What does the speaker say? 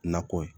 Nakɔ ye